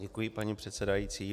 Děkuji, paní předsedající.